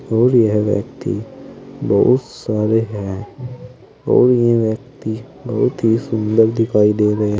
और यह व्यक्ति बहुत सारे हैं और यह व्यक्ति बहुत ही सुंदर दिखाई दे रहे--